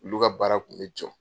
Olu ka baara kun bɛ jɔ.